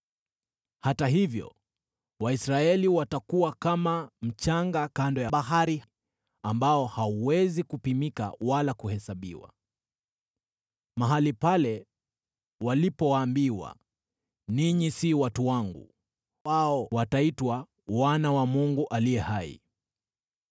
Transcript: “Hata hivyo Waisraeli watakuwa kama mchanga kando ya bahari, ambao hauwezi kupimika wala kuhesabiwa. Mahali pale walipoambiwa, ‘Ninyi si watu wangu,’ wao wataitwa ‘wana wa Mungu aliye hai.’